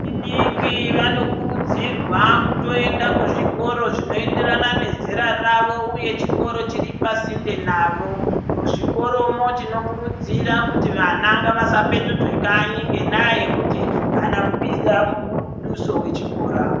Vechidiki vanokurudzirwa kutoenda kuzvikoro zvinoenderana nezera ravo uye chikoro chiri pasinde navo, muzvikoromo tinokurudzira kuti vana ngavasa petudzwe kanyi ngendaa yekuti aana kubvisa muduso wechikora.